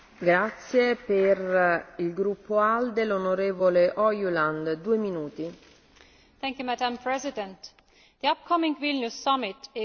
Madam President, the upcoming Vilnius Summit is by far one of the most important meetings regarding our relations with our Eastern Partnership countries.